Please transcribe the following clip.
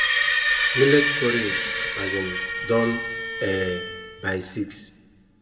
millet porridge um don um by six